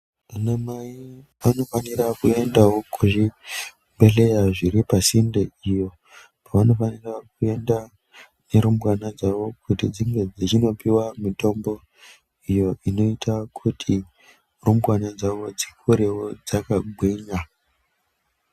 Anamai anofanira kuendawo kuzvibhehlera zviri pasinde iyo kwavanofanira kuenda nerumbwana dzavo kuti dzindopiwa mutombo iyo inoita kuti rumbwana dzavo dzikure dzakagwinya.